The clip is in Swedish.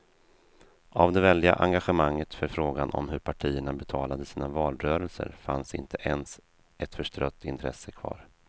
Av det väldiga engagemanget för frågan om hur partierna betalade sina valrörelser fanns inte ens ett förstrött intresse kvar.